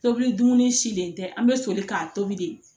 Tobili dumuni silen tɛ an bɛ soli k'an tobi de